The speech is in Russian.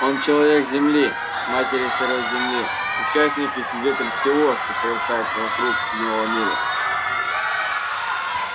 он человек земли матери сырой земли участник и свидетель всего что совершается вокруг в его мире